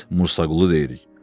Biz Bursaqulu deyirik.